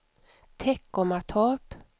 Teckomatorp